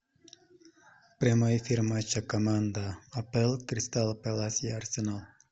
прямой эфир матча команда апл кристал пэлас и арсенал